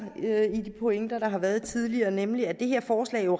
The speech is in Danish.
i de pointer der har været tidligere nemlig at det her forslag jo